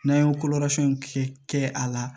N'an ye ko wɛrɛ fɛn kɛ kɛ a la